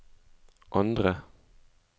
andre